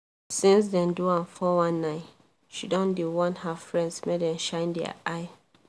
since dem do am 419 she don dey warn her friends make dem shine their eye